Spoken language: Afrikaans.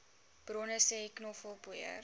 bronne sê knoffelpoeier